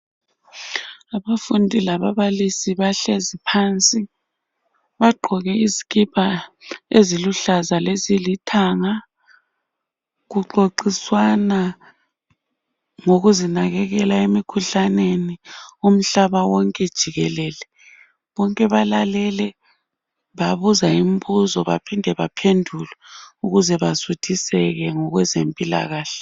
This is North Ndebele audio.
Abafundi lababalisi bahlezi phansi bagqoke izikipa eziluhlaza lezilithanga kuxoxiswana ngokuzinakekela emikhuhlaneni umhlaba wonke jikelele bonke balalele babuza imbuzo baphinde baphendule ukuze besuthiseke ngokwezempilakahle.